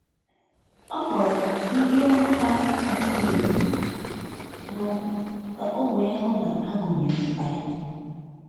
ọkpọrọ ndi olụ ha adighi erụ na okwụ ka o wee hụ na agunyere mkpa ya.